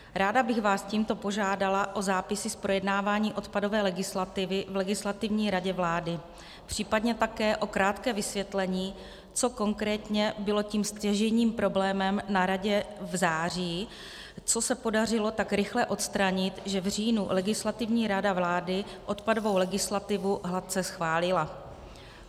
Ráda bych vás tímto požádala o zápisy z projednávání odpadové legislativy v Legislativní radě vlády, případně také o krátké vysvětlení, co konkrétně bylo tím stěžejním problémem na radě v září, co se podařilo tak rychle odstranit, že v říjnu Legislativní rada vlády odpadovou legislativu hladce schválila.